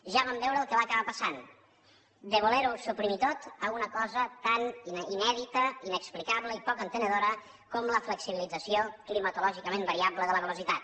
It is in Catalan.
ja vam veure el que va acabar passant de voler ho suprimir tot a una cosa tan inèdita inexplicable i poc entenedora com la flexibilització climatològicament variable de la velocitat